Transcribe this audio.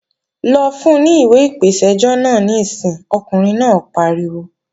Lọ fun ní ìwé ìpèsẹ́jọ́ náà níìsín, ọkùnrin náà pariwo!